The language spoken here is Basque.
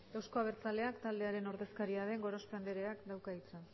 euzko abertzaleak taldearen ordezkaria den gorospe andreak dauka hitza